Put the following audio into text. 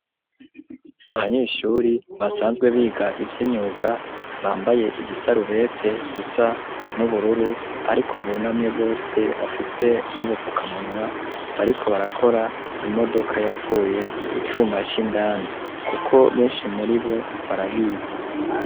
Abanyeshure basanzwe biga ivy'imyuga bambaye ibisarubete isa nubururu ariko bunamye bose bafise n'ubufukamunwa, bariko barakora imodoka yapfuye icuma c'indani kuko benshi muribo barabizi.